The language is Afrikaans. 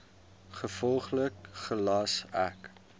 gevolglik gelas ek